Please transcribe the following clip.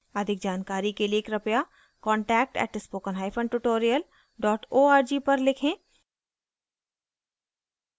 अधिक जानकारी के लिए कृपया contact @spokentutorial org पर लिखें